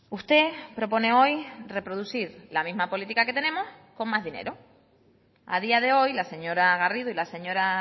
usted propone hoy reproducir la misma política que tenemos con más dinero a día de hoy la señora garrido y la señora